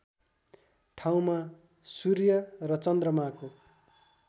ठाउँमा सूर्य र चन्द्रमाको